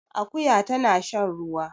Akuya tana shan ruwa